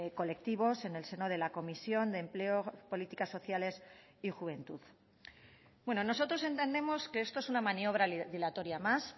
colectivos en el seno de la comisión de empleo políticas sociales y juventud bueno nosotros entendemos que esto es una maniobra dilatoria más